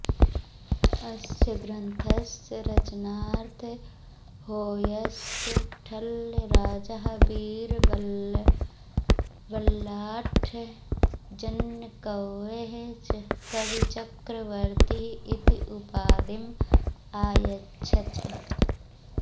अस्य ग्रन्थस्य रचनार्थं होय्सळराजः वीरबल्लाळः जन्नकवये कविचक्रवर्ती इति उपाधिम् अयच्छत्